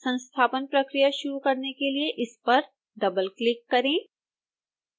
संस्थापन प्रक्रिया शुरू करने के लिए इस पर डबलक्लिक करें